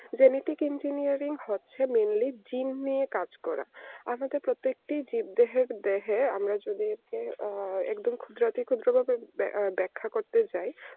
genetic engineering হচ্ছে mainly gene নিয়ে কাজ করা আমি তো প্রত্যেকটি জিজ্ঞাসাদেহে আমরা যদি হচ্ছে ক্ষুদ্রাতি ক্ষুদ্রাতিক ব্যাখ্যা করতে যায়